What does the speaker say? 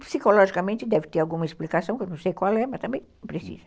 Psicologicamente, deve ter alguma explicação, que eu não sei qual é, mas também precisa.